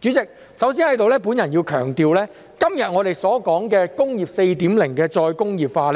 主席，首先，我要強調，今天我們所說"工業 4.0" 的再工業化，